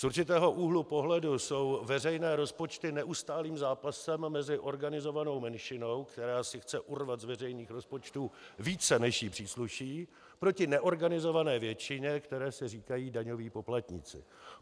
Z určitého úhlu pohledu jsou veřejné rozpočty neustálým zápasem mezi organizovanou menšinou, která si chce urvat z veřejných rozpočtů více, než jí přísluší, proti neorganizované většině, které se říká daňoví poplatníci.